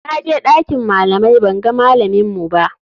Na je ɗakin malamai banga malaminmu ba.